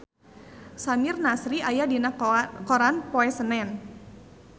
Samir Nasri aya dina koran poe Senen